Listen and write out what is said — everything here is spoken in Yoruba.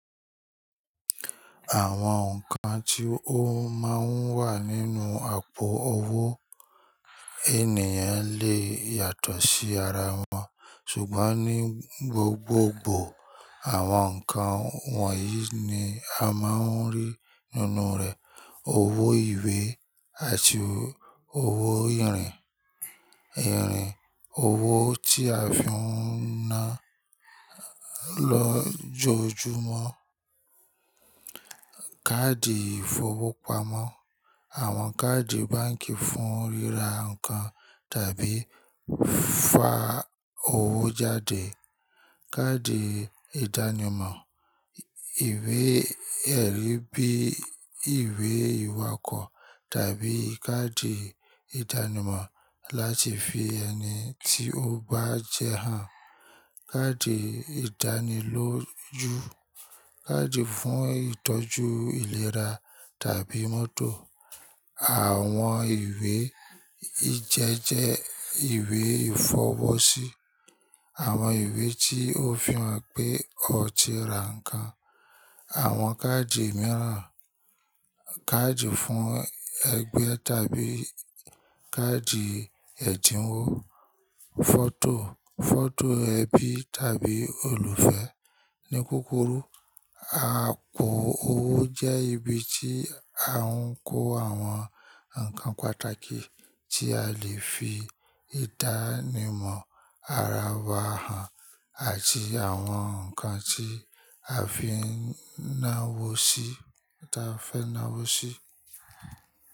Àwọn nǹkan tí ó máa ń wà nínú àpò owó ènìyàn lè yàtọ̀ sí ara wọn, ṣùgbọ́n ní gbogbogbò àwọn nǹkan wọ̀nyí ni a máa ń rí nínú rẹ̀: owó ìwé àti owó ìrìn, ìrìn, owó tí a fi ń ná lọ jọjumọ́, káàdì ìfowópamọ́, àwọn káàdì báǹkì fún ríra nǹkan tàbí fa owó jáde, káàdì ìdánimọ̀, ìwé-ẹ̀rí bíi ìwé ìwakọ̀ tàbí káàdì ìdánimọ̀ láti fi ẹni tí ó bá jẹ́ hàn, káàdì ìdánilójú, káàdì fún ìtọ́jú ìlera tàbí mọ́tò, àwọn ìwé ìjẹ́jẹ́ ìwé ìfowó sí, àwọn ìwé tí ó fi hàn pé o ti ra nǹkan, àwọn káàdì mìíràn, káàdì fún ẹgbẹ́ tàbí káàdì ẹ̀dínwó, fọ́tò, fọ́tò ẹbí tàbí olùfẹ́. Ni kukuru, àpò owó jẹ́ ibi tí a ń kó àwọn nǹkan pàtàkì tí a lè fi ìdánimọ̀ ara wa hàn àti àwọn nǹkan tí a fi ń náwó sí táa fẹ́ náwó sí.